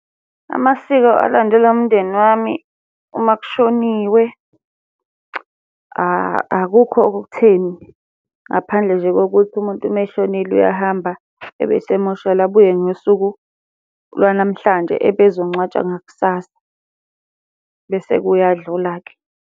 Amasiko alandelwa umndeni wami uma kushoniwe, akukho-ke okutheni, ngaphandle nje kokuthi umuntu uma eshonile uyahamba ebese semoshwali abuye ngosuku lwanamhlanje ebezongcwatshwa ngakusasa. Bese kuyadlula-ke.